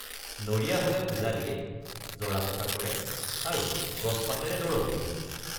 নৰিয়া হলে পূজা দিয়ে জৰাফুক৷ কৰে আৰু গছপাতেৰে দৰবো দিয়ে।